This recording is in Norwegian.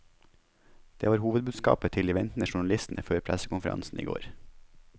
Det var hovedbudskapet til de ventende journalistene før pressekonferansen i går.